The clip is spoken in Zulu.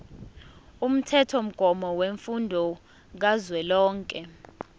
umthethomgomo wemfundo kazwelonke